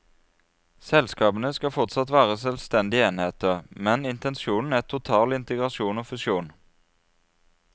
Selskapene skal forsatt være selvstendige enheter, men intensjonen er total integrasjon og fusjon.